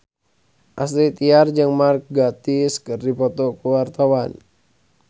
Astrid Tiar jeung Mark Gatiss keur dipoto ku wartawan